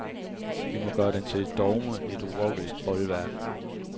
Vi må gøre den til et dogme, et urokkeligt bolværk.